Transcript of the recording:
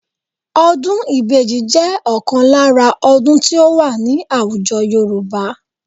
Ọdún ìbejì jẹ́ ọ̀kan lára ọdún tí ó wà ní àwùjọ Yorùbá